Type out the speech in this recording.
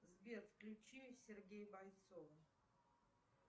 сбер включи сергея бойцова